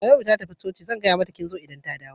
Naomi ta tafi coci, zan gaya mata kin zo idan mun dawo.